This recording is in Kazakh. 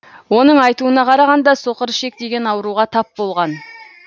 оның айтуына қарағанда соқыр ішек деген ауруға тап болған